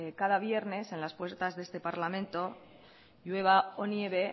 cada viernes en las puertas de este parlamento llueva o nieve